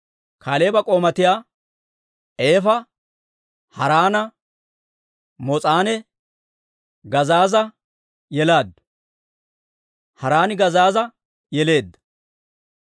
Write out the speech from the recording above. Kaaleeba k'oomatta Eefa Haaraana, Moos'anne Gazeeza yelaaddu; Haaraani Gazeeza yeleedda.